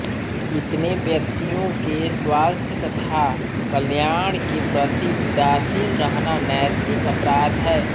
इतने व्यक्तियों के स्वास्थ्य तथा कल्याण के प्रति उदासीन रहना नैतिक अपराध है